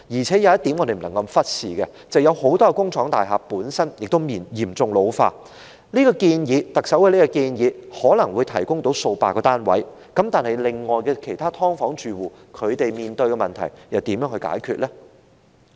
再者，不能忽視的一點是，很多工廠大廈本身嚴重老化，特首的建議可能會提供數百個單位，但其他"劏房"住戶面對的問題又如何解決呢？